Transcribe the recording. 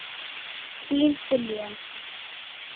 Þín Diljá.